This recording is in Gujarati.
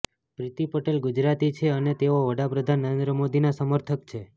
પ્રીતિ પટેલ ગુજરાતી છે અને તેઓ વડાપ્રધાન નરેન્દ્ર મોદીના સમર્થક છે